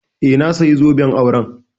Eh, na saya zoben auren